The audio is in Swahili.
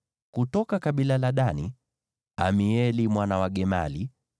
kutoka kabila la Dani, Amieli mwana wa Gemali;